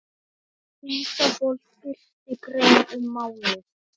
Ísafold birti grein um málið